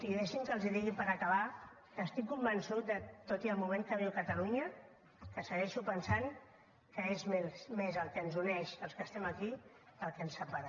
i deixi’m que els digui per acabar que estic convençut tot i el moment que viu catalunya que segueixo pensant que és més el que ens uneix als que estem aquí que el que ens separa